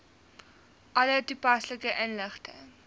alle toepaslike inligting